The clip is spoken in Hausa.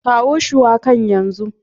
Kawo shuwakan yanzu.